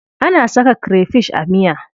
Ana saka krefish a miya.